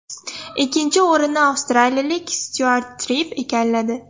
Ikkinchi o‘rinni avstraliyalik Styuart Tripp egalladi.